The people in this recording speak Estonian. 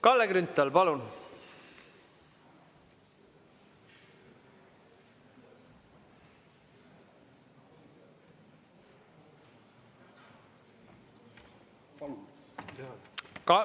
Kalle Grünthal, palun!